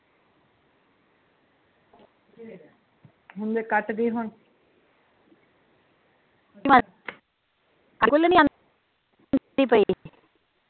ਹੁਣ ਦੇਖ ਕੱਟ ਦੀ ਹੁਣ